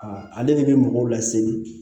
ale de bɛ mɔgɔw laseli